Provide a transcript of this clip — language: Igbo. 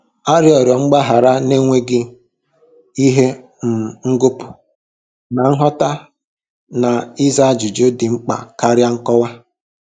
Arịọrọ m gbaghara n'enweghị ihe um ngọpụ, na-aghọta na ịza ajụjụ dị mkpa karịa nkọwa.